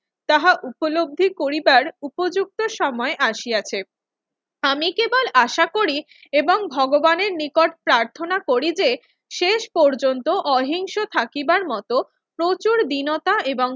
তাহা উপলব্ধি করিবার উপযুক্ত সময় আসিয়াছে। আমি কেবল আশা করি এবং ভগবানের নিকট প্রার্থনা করি যে শেষ পর্যন্ত অহিংস থাকিবার মতো প্রচুর দীনতা এব!